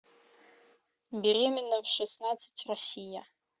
беременна в шестнадцать россия